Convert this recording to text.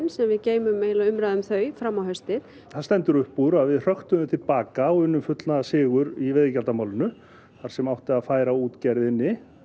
sem við geymum umræðuna um þau fram á haustið það stendur upp úr að við hröktum þau til baka og unnum fullnaðarsigur í veiðigjaldamálinu þar sem átti að færa útgerðinni